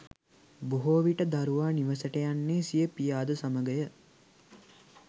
බොහෝ විට දරුවා නිවසට යන්නේ සිය පියාද සමගය